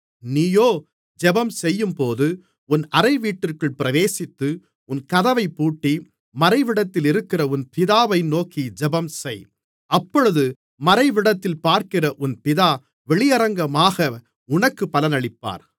நீயோ ஜெபம்செய்யும்போது உன் அறைவீட்டிற்குள் பிரவேசித்து உன் கதவைப்பூட்டி மறைவிடத்திலிருக்கிற உன் பிதாவை நோக்கி ஜெபம் செய் அப்பொழுது மறைவிடத்தில் பார்க்கிற உன் பிதா வெளியரங்கமாக உனக்குப் பலனளிப்பார்